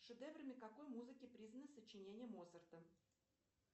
шедеврами какой музыки признаны сочинения моцарта